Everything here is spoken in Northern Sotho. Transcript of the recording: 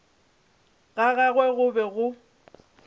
ga gagwe go be go